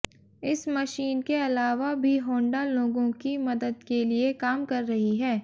इस मशीन के अलावा भी होंडा लोगों की मदद के लिए काम कर रही है